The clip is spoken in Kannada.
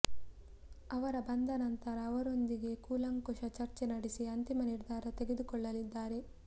ಅವರ ಬಂದ ನಂತರ ಅವರೊಂದಿಗೆ ಕೂಲಂಕಷ ಚರ್ಚೆ ನಡೆಸಿ ಅಂತಿಮ ನಿರ್ಧಾರ ತೆಗೆದುಕೊಳ್ಳಲಿದ್ದಾರೆ